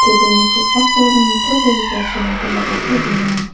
tebil -ni kosako nitobegipa pulrangkoba gate donenga.